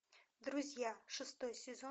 друзья шестой сезон